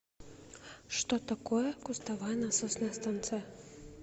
что такое кустовая насосная станция